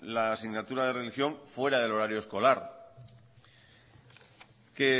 la asignatura de religión fuera del horario escolar